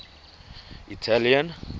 italian